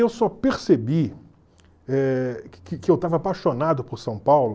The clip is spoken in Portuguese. Eu só percebi eh que que eu estava apaixonado por São Paulo